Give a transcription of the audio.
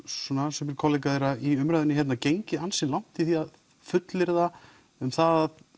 sumir kollega þeirra í umræðunni hérna gengið ansi langt í að fullyrða um það að